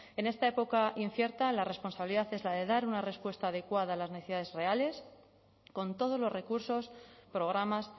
en esta época incierta la responsabilidad es la de dar una respuesta adecuada a las necesidades reales con todos los recursos programas